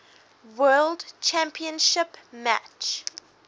world championship match